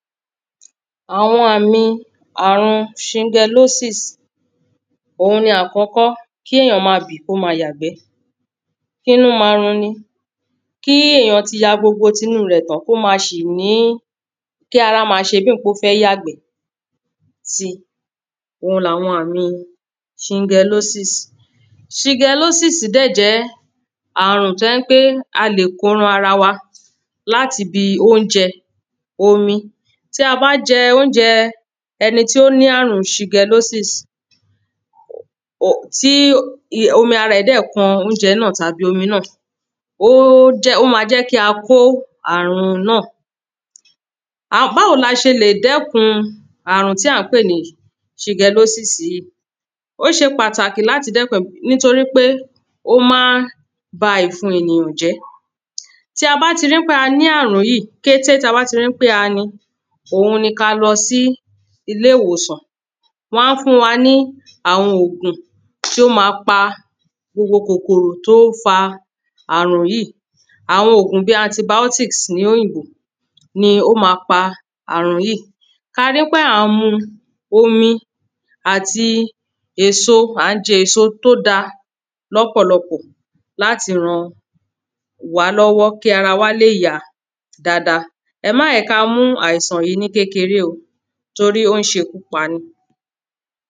Àwọn àmì àrùn ṣingalósìs òun ni àkọ́kọ́ kí èyàn má bì kó má yàgbẹ́, kínú ma runi. Kí èyàn ti ya ti gbogbo tinú rẹ̀ tán kó má ṣì ní kí ara má ṣebí èpé ó fẹ́ yàgbé si oun làwọn àmi ṣingalósìs. Ṣingalósìs dẹ̀ jẹ́ àrùn tó jẹ́ pé a lè kó ran ara wa láti ibi óúnjẹ, omi. Tí a bá jẹ óúnjẹ ẹni tó ní àrùn ṣingalósìs ò tí ti omi ara ẹ̀ dẹ̀ kan óúnjẹ náà tàbí omi náà ó jẹ́ ó má jẹ́ ká kó àrùn náà. Báwo la ṣe lè dẹ́kun àrùn tí à ń pè ní ṣingalósìs yíì. Ó ṣe pàtàkì láti dẹ́kun rẹ̀ nítorípé ó má ń ba ìfun ènìyàn jẹ́. Tí a bá ti rí pé a ní àrùn yíì kété tá bá ti rí pé a ní ohun ni ká lọ sí ilé ìwòsàn wọ́n á fún wa ní àwọn òògùn tí ó má pa gbogbo kòkòrò tó ń fa àrùn yíì. Àwọn òògùn bí antibiotics ní òyìnbó ni ó má pa àrùn yíì. Ká rí pé à ń mu omi àti èso à ń jẹ èso tó da lọ́pọ̀lọpọ̀ láti ran wá lọ́wọ́ kí ara wa lè yá dáada. Ẹ má jẹ́ ká mú àìsàn yìí ní kékeré o torí ó ń ṣekú pani.